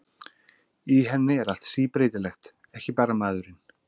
Í henni er allt síbreytilegt, ekki bara maðurinn.